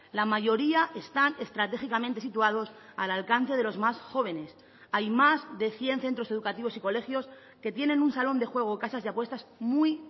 la mayoría están estratégicamente situados al alcance de los más jóvenes hay más de cien centros educativos y colegios que tienen un salón de juego o casas de apuestas muy